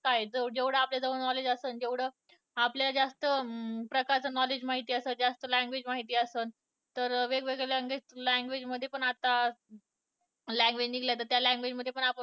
अं जेवढं आपल्याकडे knowledge असन तेवढं आपल्याला जास्त प्रकारचं knowledge माहित असन जास्त language माहित असन तर वेगवेगळ्या language, language मध्ये पण आता language निघल्या तर त्या language मध्ये पण आपण